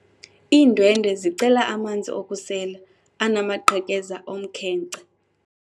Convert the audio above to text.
Iindwendwe zicela amanzi okusela anamaqhekeza omkhenkce.